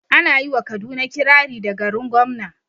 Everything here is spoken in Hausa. Ana yi wa kaduna kirari da "garin gwamna"